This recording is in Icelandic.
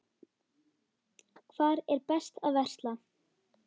Hvar er best að versla?